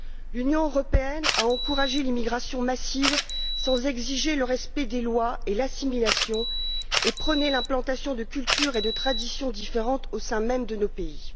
L'Union européenne a encouragé l'immigration massive sans exiger le respect des lois et l'assimilation, et prôné l'implantation de cultures et de traditions différentes au sein même de nos pays.